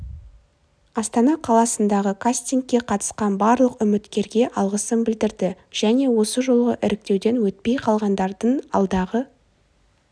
астана қаласындағы кастингке қатысқан барлық үміткерге алғысын білдірді және осы жолғы іріктеуден өтпей қалғандардың алдағы